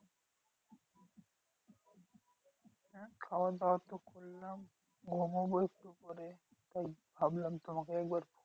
হ্যাঁ খাওয়াদাওয়া তো করলাম। ঘুমোবো একটু পরে। তাই ভাবলাম তোমাকে একবার